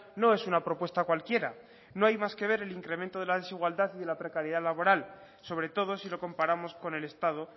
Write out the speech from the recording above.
no es una propuesta cualquiera no hay más que ver el incremento de la desigualdad y de la precariedad laboral sobre todo si lo comparamos con el estado